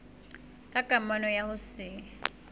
ka kamano ya ho se